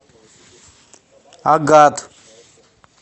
агат